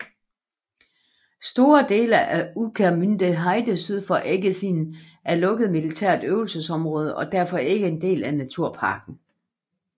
Store dele af Ueckermünder Heide syd for Eggesin er lukket militært øvelsesområde og er derfor ikke en del af naturparken